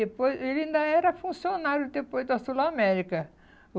Depois ele ainda era funcionário depois da Sul América.